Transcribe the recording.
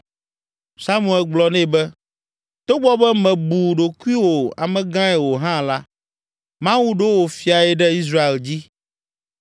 Samuel gblɔ nɛ be, “Togbɔ be mèbu ɖokuiwò amegãe o hã la, Mawu ɖo wò fiae ɖe Israel dzi.